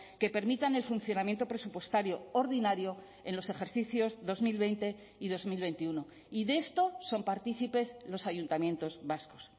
que permitan el funcionamiento presupuestario ordinario en los ejercicios dos mil veinte y dos mil veintiuno y de esto son partícipes los ayuntamientos vascos